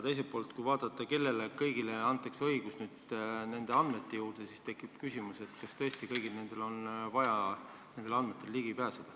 Ja kui vaadata, kellele kõigile antakse võimalus nendele andmete ligi pääseda, siis tekib küsimus, kas tõesti on neil kõigil seda õigust vaja.